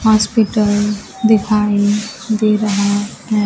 Hospital दिखाई दे रहा है।